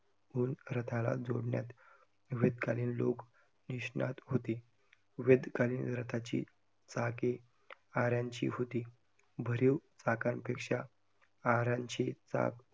रथाला जोडण्यात, वेद कालीन लोक निष्णात होती, वेद कालीन रथाची चाके आऱ्यांची होती, भरीव चाकांपेक्षा आऱ्यांची चाक